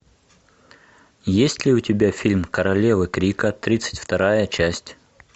есть ли у тебя фильм королева крика тридцать вторая часть